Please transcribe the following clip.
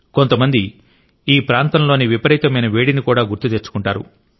కొంతమంది ఈ ప్రాంతంలోని విపరీతమైన వేడిని కూడా గుర్తు తెచ్చుకుంటారు